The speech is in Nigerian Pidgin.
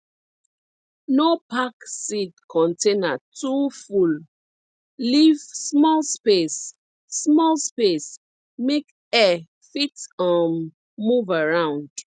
no pack seed container too full leave small space small space make air fit um move around